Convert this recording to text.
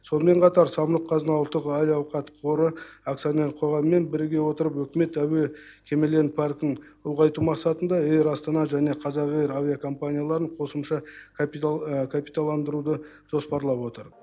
сонымен қатар самұрық қазына ұлттық әл ауқат қоры акционерлік қоғамымен біріге отырып үкімет әуе кемелерінің паркін ұлғайту мақсатында эйр астана және қазақ эйр авиакомпанияларын қосымша капиталандыруды жоспарлап отыр